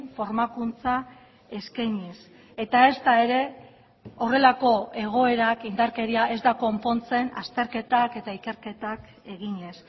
formakuntza eskainiz eta ezta ere horrelako egoerak indarkeria ez da konpontzen azterketak eta ikerketak eginez